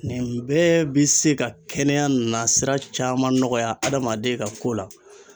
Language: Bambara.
Nin bɛɛ bi se ka kɛnɛya nasira caman nɔgɔya adamaden ka ko la